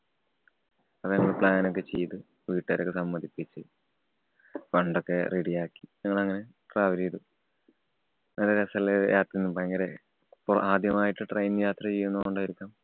അങ്ങനെ plan ഒക്കെ ചെയ്തു, വീട്ടുകാരെയൊക്കെ സമ്മതിപ്പിച്ച് fund ഒക്കെ ready യാക്കി ഞങ്ങൾ അങ്ങനെ travel ചെയ്തു. നല്ല രസമുള്ള യാത്രയായിരുന്നു. ഭയങ്കര അപ്പൊ ആദ്യായിട്ട് train യാത്ര ചെയ്യുന്നോണ്ടായിരിക്കും.